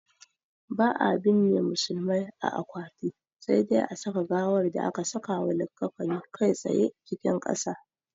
Ba'a binne musulmai a akwati, sai dai a saka gawar da aka sakawa likkafani kai tsaye cikin ƙasa.